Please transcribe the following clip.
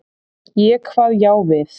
Ég kvað já við.